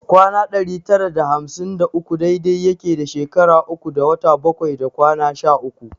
Kwana ɗari tara da hamsin da uku dai dai yake da shekara uku da wata bakwai da kwana sha uku